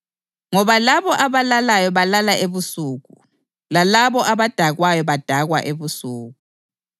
Ngoba labo abalalayo balala ebusuku, lalabo abadakwayo badakwa ebusuku.